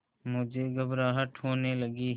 मुझे घबराहट होने लगी